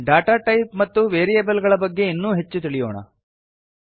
data type ಮತ್ತು variable ಗಳ ಬಗ್ಗೆ ಇನ್ನೂ ಹೆಚ್ಚು ತಿಳಿಯೋಣ